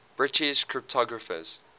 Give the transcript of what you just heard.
british cryptographers